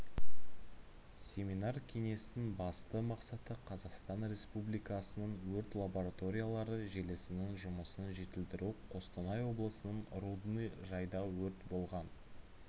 семинар-кеңестің басты мақсаты қазақстан республикасының өрт лабораториялары желісінің жұмысын жетілдіру қостанай облысының рудный жайда өрт болған